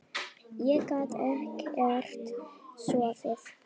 Ég gat ekkert sofið.